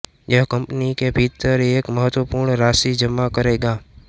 यह कंपनी के भीतर एक महत्वपूर्ण राशि जमा करेगा